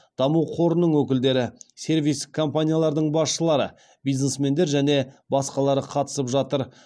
даму қорының өкілдері сервистік компаниялардың басшылары бизнесмендер және басқалары қатысып жатыр